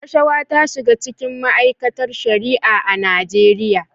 Rashawa ta shiga cikin ma'aikatar Shari'a a Najeriya.